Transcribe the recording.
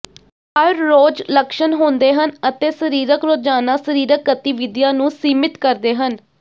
ਹਰ ਰੋਜ਼ ਲੱਛਣ ਹੁੰਦੇ ਹਨ ਅਤੇ ਸਰੀਰਕ ਰੋਜ਼ਾਨਾ ਸ਼ਰੀਰਕ ਗਤੀਵਿਧੀਆਂ ਨੂੰ ਸੀਮਿਤ ਕਰਦੇ ਹਨ